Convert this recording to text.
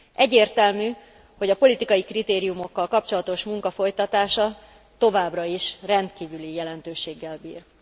Egyértelmű, hogy a politikai kritériumokkal kapcsolatos munka folytatása továbbra is rendkívüli jelentőséggel bír.